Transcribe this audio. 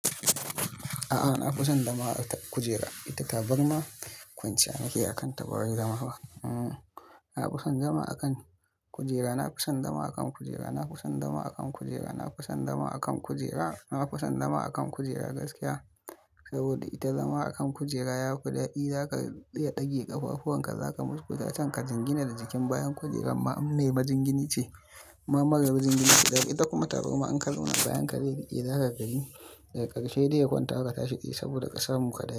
A'a na fi son zama a kan kujera, ita tabarma kwanciya nakeyi akan ta bawai zama ba? Na fi son zama a kan kujera, na fi son zama a kan kujera, na fi son zama a kan kujera, na fi son zama a kan kujera, na fi son zama a kan kujera gaskiya saboda ita zama a kan kujera yafi dadi. Zaka iya dage ƙafafuwan ka, zaka musgusta can ka jingina da jikin bayan kujeran ma in mai majingini ce, in ma marar jingini ce. Da ita kuma tabarma in ka zauna bayan ka zai riƙe za ka gani, daga ƙarshe dai ya kwanta ka ka tashi tsaye sabida ƙasamun ka dai.